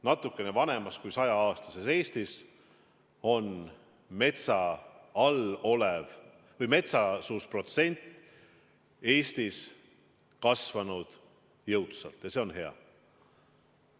Natukene vanemas kui 100-aastases Eestis on metsasuse protsent kasvanud jõudsalt ja see on hea.